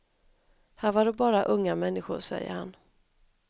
Här var det bara unga människor, säger han.